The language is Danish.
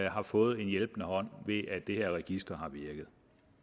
har fået en hjælpende hånd ved at det her register har virket